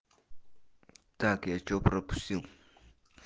так я что пропустил